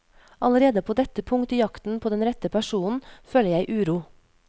Allerede på dette punkt i jakten på den rette personen føler jeg uro.